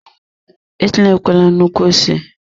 Etinyekwala nnukwu ose!